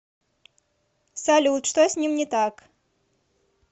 салют что с ним не так